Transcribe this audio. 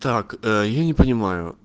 так ээ я не понимаю